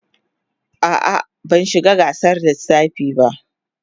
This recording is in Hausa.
A'a, ban shiga gasar lissafi ba.